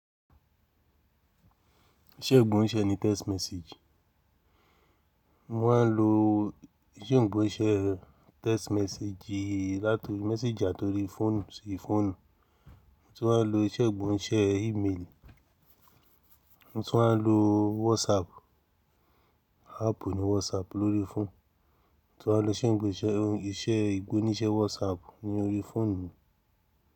Iṣẹ́ ìgbóǹṣe ni text message. Wọ́n á lo iṣẹ́ ìgbóǹṣe text message yìí láti message àtorí fóònù sí fóònù. Wọ́n tún wá lo iṣẹ́ ìgbóǹṣe email. Mo tún wá lo WhatsApp, áàpù ní WhatsApp lórí fóònù. Mo tún wá lo iṣẹ́ ìgbóǹíṣe WhatsApp ní orí fóònù.